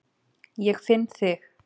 Ég finn þig.